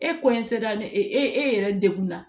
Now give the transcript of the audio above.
E sera e e yɛrɛ dekun na